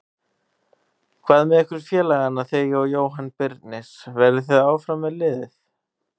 Hvað með ykkur félagana þig og Jóhann Birnir, verðið þið áfram með liðið?